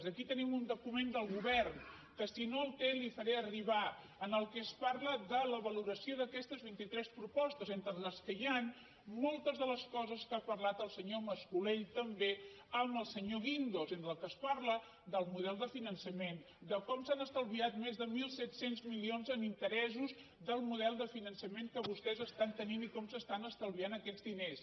aquí tenim un document del govern que si no el té l’hi faré arribar en el qual es parla de la valoració d’aquestes vint itres propostes entre les quals hi han moltes de les coses de què ha parlat el senyor mas colell també amb el senyor guindos entre les quals es parla del model de finançament de com s’han estalviat més de mil set cents milions en interessos del model de finançament que vostès estan tenint i com s’estan estalviant aquests diners